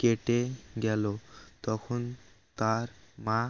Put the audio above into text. কেটে গেল তখন তার মা